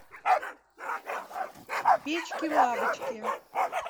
печки лавочки